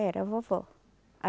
Era a vovó.